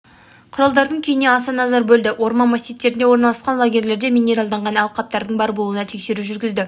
құралдарының күйіне аса назар бөлді орман массивтерінде орналасқан лагерлерде минералданған алқаптардың бар болуына тексеру жүргізді